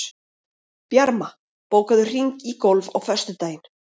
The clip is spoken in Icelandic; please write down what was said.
Bjarma, bókaðu hring í golf á föstudaginn.